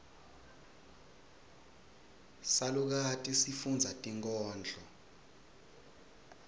salukati sifundza tinkhondlo